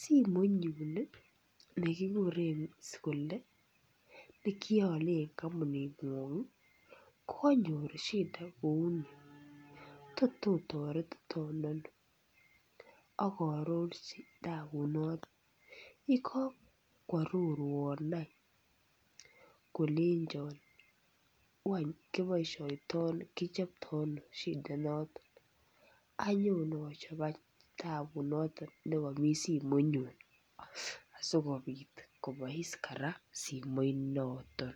simoinyun nekikuren kole nekioole kampuning'wong konyor shida neuni. Tot otoretiton ano akaarorji nabunoto. Yekakoaroruan ay kolenjo wai kichopto ano tapunoto anyon achop ay taput nekami simoinyun asikobiit kobois kora simoinoton.